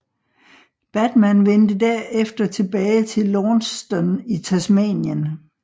Batman vendte derefter tilbage til Launceston i Tasmanien